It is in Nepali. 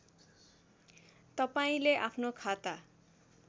तपाईँले आफ्नो खाता